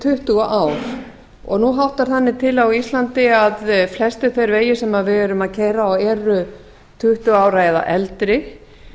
tuttugu ár og nú háttar þannig til á íslandi að flestir þeir vegir sem við erum að keyra og eru tuttugu ára eða eldri